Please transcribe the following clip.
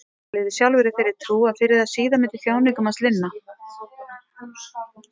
Hann lifði sjálfur í þeirri trú að fyrr eða síðar myndi þjáningum hans linna.